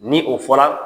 Ni o fɔra